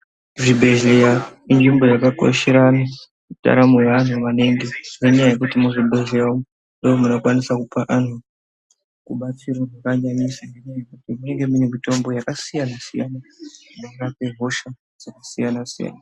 Muzvibhedhleya izvimbo yakakoshera ndaramo yeantu maningi ngenyaya yekuti muzvibhedhlera umu ndoomunokwanisa kupuwa anhu rubatsiro rwakanyanyisa ngekutii munonge mune mitombo yakasiyanasiyana inorape hosha dzakasiyanasiyana.